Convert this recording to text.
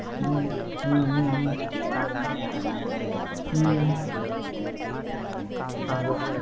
ஹம் ஹம் ஹம் ஹம் ஹம் ஹம் அதான்